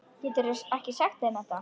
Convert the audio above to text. Geturðu ekki sagt þeim þetta.